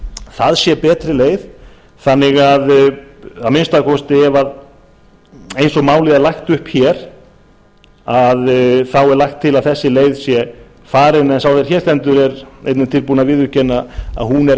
það sé betri leið þannig að að minnsta kosti ef eins og málið er lagt upp hér þá er lagt til að þessi leið sé farin en sá sem hér stendur er einnig tilbúinn að viðurkenna að